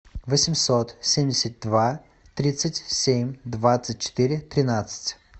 восемьсот семьдесят два тридцать семь двадцать четыре тринадцать